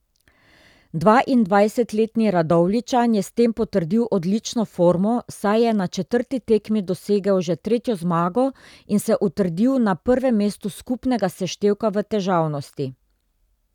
Dvaindvajsetletni Radovljičan je s tem potrdil odlično formo, saj je na četrti tekmi dosegel že tretjo zmago in se utrdil na prvem mestu skupnega seštevka v težavnosti.